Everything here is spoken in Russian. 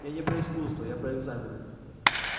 я не про искусство я про экзамены